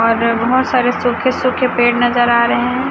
और बहोत सारे सूखे सूखे पेड़ नजर आ रहे है।